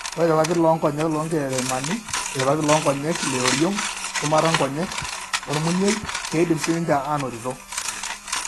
Ore irpapit loonkonyek loonkereremani ,irpapit loonkonyek leoriong' shumata inkonyek, ormunyiei keidim siininche aanotito.